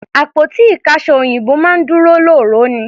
Àpótí ìkáṣọsí òyìnbó máa ń dúró lóòró ni.